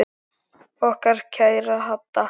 Okkar kæra Hadda.